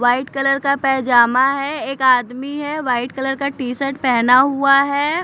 White colour का पैजामा है एक आदमी है वाइट कलर का टी शर्ट पहना हुआ है।